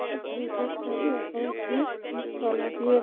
এটা ব্রিজ -এর ছবি ওপরে ব্রিজ তলা দিয়ে --